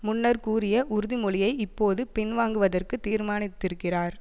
முன்னர் கூறிய உறுதி மொழியை இப்போது பின்வாங்குவதற்கு தீர்மானித்திருக்கிறார்